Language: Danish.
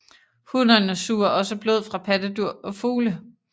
Hunnerne suger også blod fra pattedyr og fugle